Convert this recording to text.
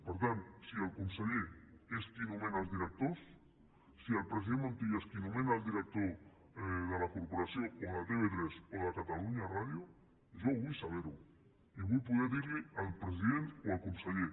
per tant si el conseller és qui nomena els directors si el president montilla és qui nomena el director de la corporació o de tv3 o de catalunya ràdio jo ho vull saber i vull poder ho dir al president o al conseller